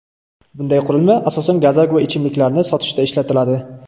Bunday qurilma asosan gazak va ichimliklarni sotishda ishlatiladi.